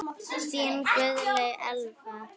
Þín Guðlaug Elfa.